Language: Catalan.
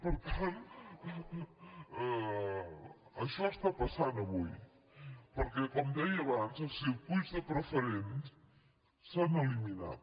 per tant això està passant avui perquè com deia abans els circuïts de preferent s’han eliminat